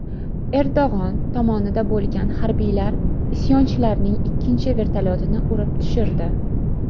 Erdo‘g‘on tomonida bo‘lgan harbiylar isyonchilarning ikkinchi vertolyotini urib tushirdi.